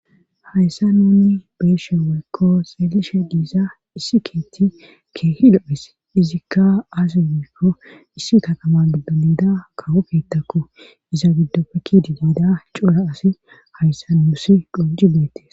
Hayssa nunni beeshe woykko xeelishe diiza issi keetti keehi do'e' izikka aasi woykko issi katama giddo niida kawo keettakku iza biddoppekidi nida cora asi hayssa nuussi qoji beettes.